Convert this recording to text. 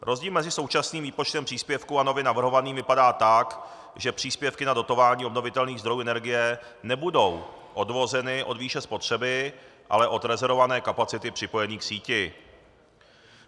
Rozdíl mezi současným výpočtem příspěvku a nově navrhovaným vypadá tak, že příspěvky na dotování obnovitelných zdrojů energie nebudou odvozeny od výše spotřeby, ale od rezervované kapacity připojení k síti.